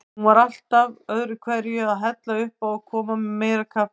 Hún var alltaf öðruhverju að hella uppá og koma með meira kaffi.